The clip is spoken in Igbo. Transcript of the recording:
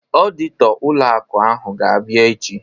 Ọditọ ụlọ akụ ahụ ga-abịa echi